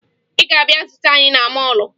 Ị ga-abịa zute anyị na mọọlụ